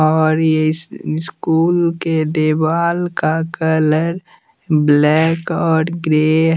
और ये स्कूल के दीवाल का कलर ब्लैक और ग्रे --